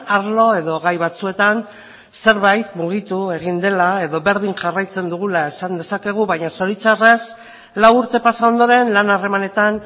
arlo edo gai batzuetan zerbait mugitu egin dela edo berdin jarraitzen dugula esan dezakegu baina zoritzarrez lau urte pasa ondoren lan harremanetan